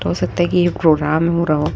हो सकता है की प्रोग्राम हो रहा हो।